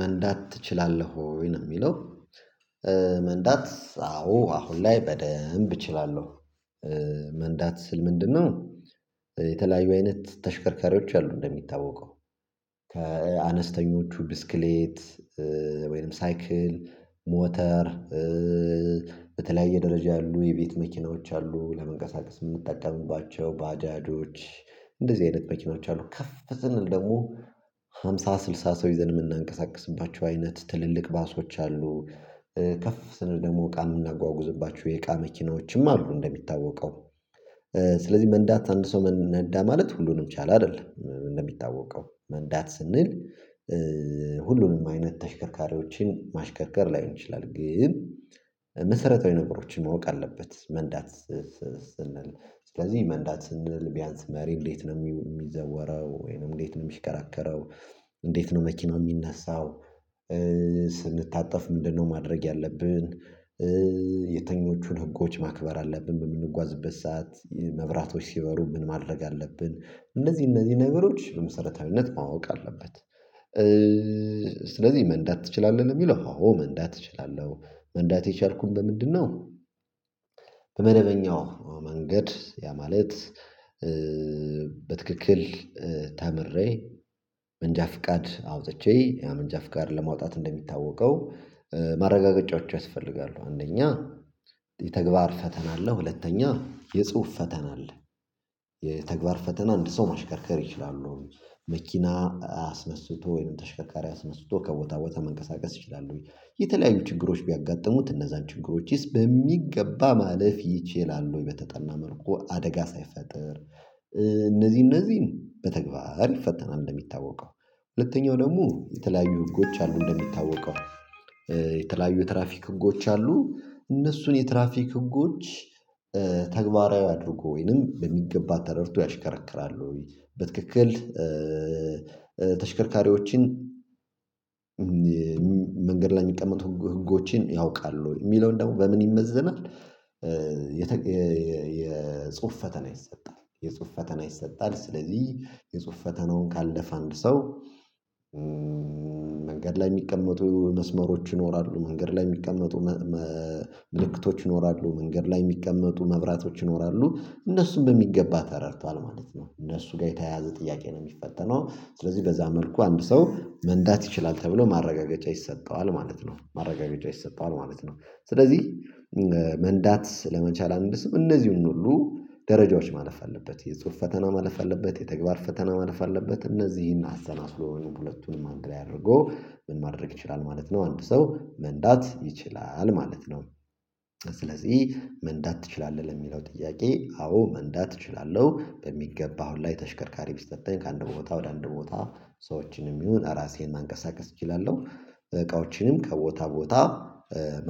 መንዳት ትችላለህ ወይ ነው የሚለው? መንዳት አዎ አሁን ላይ በደንብ እችላለሁ። መንዳት ስል ምንድነው? የተለያዩ አይነት ተሽከርካሪዎች አሉ እንደሚታወቀው ከአነስተኞቹ ብስክሌት። ወይም ሳይክል ሞተር በተለያየ ደረጃ ያሉ የቤት መኪናዎች አሉ። ለመንቀሳቀስ የምንጠቀምባቸው ባጃጆች እንደዚህ አይነት መኪኖች አሉ። ከፍ ስንል ደግሞ ሃምሳ ስልሳ ሰው ይዘን የምናንቀሳቅስባቸው አይነት ትልልቅ ባሶች አሉ። ከፍ ስነ ደግሞ እቃ የምናጓጉዝባቸው የእቃ መኪናዎችም አሉ። እንደሚታወቀው ስለዚህ መንዳት አንድ ሰው ነዳ ማለት ሁሉንም ቻለ አይደለም። እንደሚታወቀው መንዳት ስንል ሁሉንም አይነት ተሽከርካሪዎችን ማሽከርከር ላይሆን ይችላል። ግን መሰረታዊ ነገሮችን ማወቅ አለበት። መንዳት ስንል ስለዚህ መንዳት ስንል ቢያንስ መሪ እንዴት ነው የሚዘወረው ወይንም እንዴት ነው የሚሽከራከረው? እንዴት ነው መኪናው የሚነሳው? ስንታጠፍ ምንድነው ማድረግ ያለብን? የትኞቹን ህጎች ማክበር አለብን? በምንጓዝበት ሰዓት መብራቶች ሲበሩ ምን ማድረግ አለብን? እነዚህ እነዚህ ነገሮች በመሰረታዊነት ማወቅ አለበት። ስለዚህ መንዳት ትችላለህ የሚለው አዎ መንዳት እችላለሁ። መንዳት የቻልኩት በምንድነው? በመደበኛው መንገድ ያ ማለት በትክክል ተምሬ መንጃ ፍቃድ አውጥቼ ያው መንጃ ፍቃድ ለማውጣት እንደሚታወቀው ማረጋገጫዎቹ ያስፈልጋሉ። አንደኛ የተግባር ፈተና አለ። ሁለተኛ የጽሁፍ ፈተና አለ። የተግባር ፈተና አንድ ሰው ማሽከርከር ይችላሉ መኪና አስነስቶ ወይም ተሽከርካሪ አስነስቶ ከቦታ ቦታ መንቀሳቀስ ይችላሉ የተለያዩ ችግሮች ቢያጋጥሙት እነዛን ችግሮችስ በሚገባ ማለፍ ይችላል። ወይ በተጠና መልኩ አደጋ ሳይፈጥር እነዚህ እነዚህን በተግባር ይፈተናል። እንደሚታወቀው ሁለተኛው ደግሞ የተለያዩ ህጎች አሉ። እንደሚታወቀው የተለያዩ ትራፊክ ህጎች አሉ። እነሱን የትራፊክ ህጎች ተግባራዊ አድርጎ ወይንም በሚገባ ተረድቶ ያሽከርክራል ወይ በትክክል ተሽከርካሪዎችን መንገድ ላይ የሚቀመጡ ህጎችን ያውቃል ወይ የሚለውን ደግሞ በምን ይመዘናል። የጽሁፍ ፈተና ይሰጣል የጽሁፍ ፈተና ይሰጣል። ስለዚህ የጽሁፍ ፈተናውን ካለፈ አንድ ሰው መንገድ ላይ የሚቀመጡ መስመሮች ይኖራሉ መንገድ ላይ የሚቀመጡ ምልክቶች ይኖራሉ መንገድ ላይ የሚቀመጡ መብራቶች ይኖራሉ እነሱም በሚገባ ተረድቷል ማለት ነው። እነሱ ጋር የተያያዘ ጥያቄ ነው የሚፈተነው። ስለዚህ በዛ መልኩ አንድ ሰው መንዳት ይችላል ተብሎ ማረጋገጫ ይሰጠዋል ማለት ነው። ማረጋገጫ ይሰጠዋል ማለት ነው። ስለዚህ መንዳት ለመቻል አንድ ሰው እነዚህን ሁሉ ደረጃዎች ማለፍ አለበት። የጽሁፍ ፈተና ማለፍ አለበት። የተግባር ፈተና ማለፍ አለበት። እነዚህን አሰላስሎ ሁለቱንም አንድ ላይ አደርጎ ምን ማድረግ ይችላል ማለት ነው። አንድ ሰው መንዳት ይችላል ማለት ነው። ስለዚህ መንዳት ትችላለህ ለሚለው ጥያቄ አዎ መንዳት እችላለሁ። በሚገባ አሁን ላይ ተሽከርካሪ ቢስጠጣኝ ከአንድ ቦታ ወደ አንድ ቦታ ሰዎችንም ይሁን ራሴን ማንቀሳቀስ እችላለሁ። እቃዎችንም ከቦታ ቦታ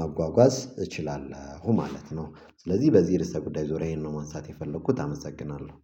መጓጓዝ እችላለሁ ማለት ነው። ስለዚህ በዚህ እርሰ ጉዳይ ሁሪያ ይሄን ነው ማንሳት የፈለኩት አመሰግናለሁ